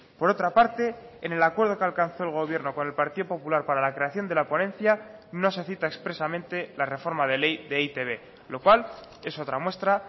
por otra parte en el acuerdo que alcanzó el gobierno con el partido popular para la creación de la ponencia no se cita expresamente la reforma de ley de e i te be lo cual es otra muestra